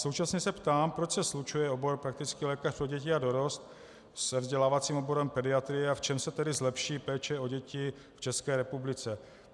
Současně se ptám, proč se slučuje obor praktický lékař pro děti a dorost se vzdělávacím oborem pediatrie a v čem se tedy zlepší péče o děti v České republice.